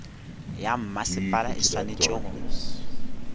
ya mmasepala e swanetše go